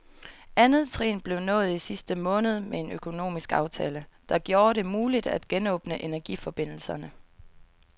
Andet trin blev nået i sidste måned med en økonomisk aftale, der gjorde det muligt at genåbne energiforbindelserne.